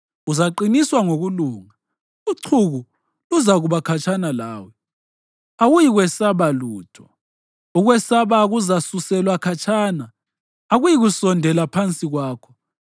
Uzaqiniswa ngokulunga: uchuku luzakuba khatshana lawe, awuyikwesaba lutho. Ukwesaba kuzasuselwa khatshana, akuyikusondela phansi kwakho.